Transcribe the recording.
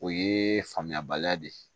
O ye faamuyabaliya de ye